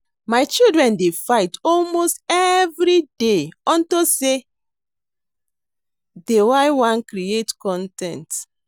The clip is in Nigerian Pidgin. My children dey fight almost everyday unto say dey y wan create con ten t